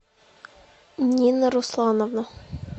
нина руслановна